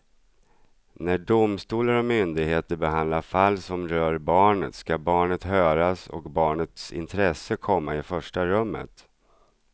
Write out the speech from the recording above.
När domstolar och myndigheter behandlar fall som rör barnet ska barnet höras och barnets intresse komma i första rummet.